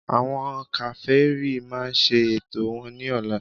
Àwọn Kèfèrí máa ṣe ètò wọn ní ọ̀la